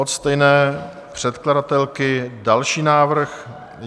Od stejné předkladatelky další návrh.